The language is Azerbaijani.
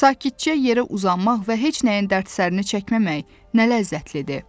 Sakitcə yerə uzanmaq və heç nəyin dərd-sərini çəkməmək nə ləzzətlidir.